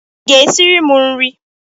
Ị ga-esiri m nri?